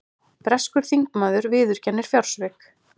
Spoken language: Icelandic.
Breskur þingmaður viðurkennir fjársvik